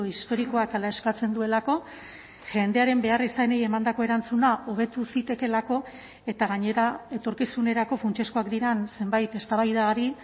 historikoak hala eskatzen duelako jendearen beharrizanei emandako erantzuna hobetu zitekeelako eta gainera etorkizunerako funtsezkoak diren zenbait eztabaidari